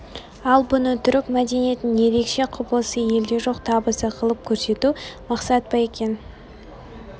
ал бұны түрік мәдениетінің ерекше құбылысы елде жоқ табысы қылып көрсету мақсат па екен